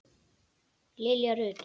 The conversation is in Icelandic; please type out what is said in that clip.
Lilja Rut.